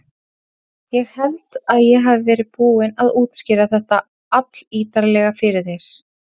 Ég held ég hafi verið búinn að útskýra þetta allítarlega fyrir þér.